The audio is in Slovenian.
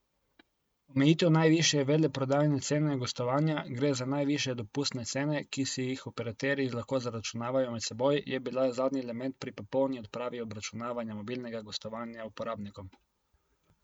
Omejitev najvišje veleprodajne cene gostovanja, gre za najvišje dopustne cene, ki si jih operaterji lahko zaračunavajo med seboj, je bila zadnji element pri popolni odpravi obračunavanja mobilnega gostovanja uporabnikom.